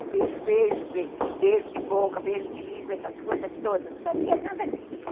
o beijo, beijo, beijo de boca, beijo de língua, essas coisas todas, não sabia nada disso.